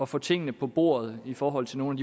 få tingene på bordet i forhold til nogle